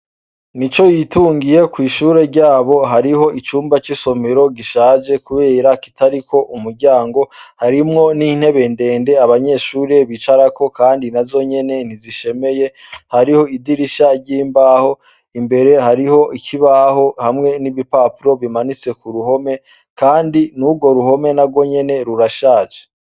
Nicoyitungiye kw'ishure ryabo hariho icumba c’isomero gishaje kubera kitariko umuryango. Harimwo n’intebe ndende abanyeshure bicarako kandi nazo nyene ntizishemeye. Hariho idirisha ry’imbaho, imbere hariho ikibaho hamwe n’ibipapuro bimanitse ku ruhome kandi n’urwo ruhome narwo nyene rurashaje.